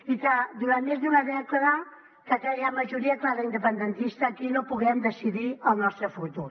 i que durant més d’una dècada aquella majoria clara independentista aquí no puguem decidir el nostre futur